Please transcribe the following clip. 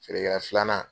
Feerekɛla filanan